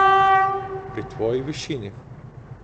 Pri tvoji višini?